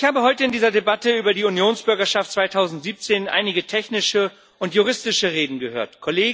Ich habe heute in dieser Debatte über die Unionsbürgerschaft 2017 einige technische und juristische Reden gehört.